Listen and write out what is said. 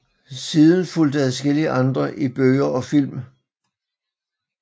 Siden fulgte adskillige andre i bøger og film